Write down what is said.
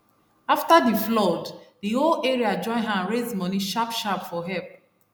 after d flood d whole area join hand raise money sharp sharp for help